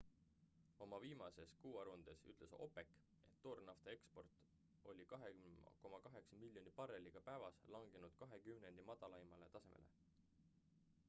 oma viimases kuuaruandes ütles opec et toornafta eksport oli 2,8 miljoni barreliga päevas langenud kahe kümnendi madalaimale tasemele